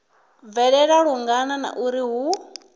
bvelela lungana na uri hu